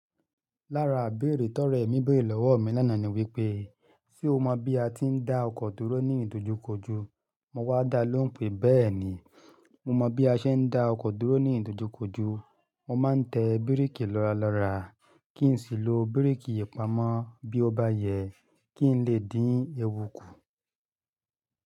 Lára ibérè tọrẹ mí béèrè lọ́wọ mi lánàá ni wípé, "ṣé o mọ bí a ti ń dá ọkọ̀ dúró ní ìdojúkojú?" Mo wá dá a lóhun pé, "bẹ́ẹ̀ni, mo mọ bí a ṣe ń dá ọkọ̀ dúró ní ìdojúkojú. Mo máa ń tẹ bíréèkì lọ́ra lọ́ra kí n sì lo bíréèkì ipamo bí ó bá yẹ kí n lè dín ewu kù."